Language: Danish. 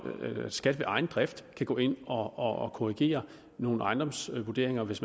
at skat af egen drift kan gå ind og korrigere nogle ejendomsvurderinger hvis